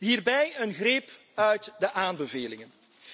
Hierbij een greep uit de aanbevelingen.